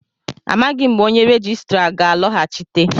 Amaghị m mgbe onye rejistra ga-alọghachite